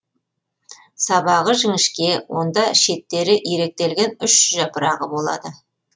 сабағы жіңішке онда шеттері иректелген үш жапырағы болады